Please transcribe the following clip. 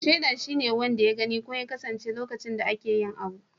Shaida wanda ya gani ko ya kasance a lokacin da ake yi abu.